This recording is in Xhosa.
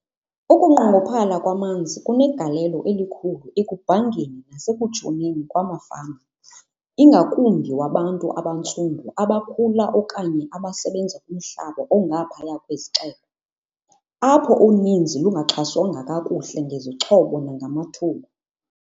Ukunqongophala kwamanzi kunegalelo elikhulu ekubhangeni nasekutshoneni kwamafama, ingakumbi wabantu abantsundu abakhula okanye abasebenza kumhlaba ongaphaya kwezixeko, apho uninzi lungaxhaswanga kakuhle ngezixhobo nangamathuba.